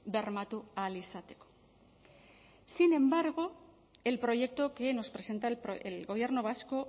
bermatu ahal izateko sin embargo el proyecto que nos presenta el gobierno vasco